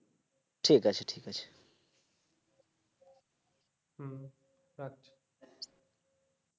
ঠিক আছে ঠিক আছে